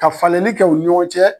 Ka falenni kɛ o ni ɲɔgɔn cɛ